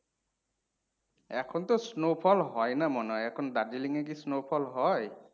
এখন তো snowfall হইনা মনে হয়, এখন Darjeeling এ কি snowfall হয়?